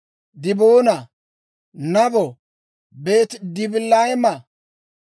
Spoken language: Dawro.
Diboona, Nabo, Beeti-Dibilaatayima,